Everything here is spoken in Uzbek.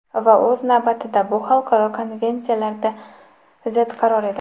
Va o‘z navbatida bu xalqaro konvensiyalarga zid qaror edi.